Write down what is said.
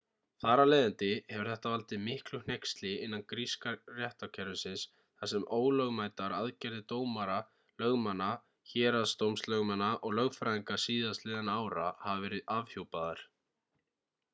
þar af leiðandi hefur þetta valdið miklu hneyksli innan gríska réttarkerfisins þar sem ólögmætar aðgerðir dómara lögmanna héraðsdómslögmanna og lögfræðinga síðastliðinna ára hafa verið afhjúpaðar